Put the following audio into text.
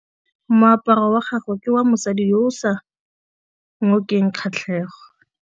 Moaparô wa gagwe ke wa mosadi yo o sa ngôkeng kgatlhegô.